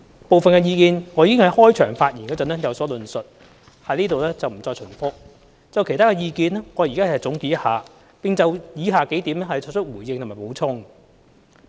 部分意見我已在開場發言有所論述，我在這裏不會重複，就其他的意見，我現在總結一下，並就以下數點作出回應和補充。